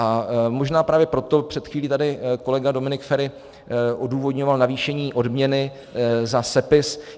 A možná právě proto, před chvílí tady kolega Dominik Feri odůvodňoval navýšení odměny za sepis.